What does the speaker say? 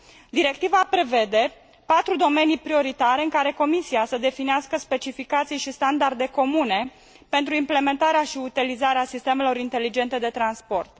Directiva prevede patru domenii prioritare în care Comisia să definească specificații și standarde comune pentru implementarea și utilizarea sistemelor inteligente de transport.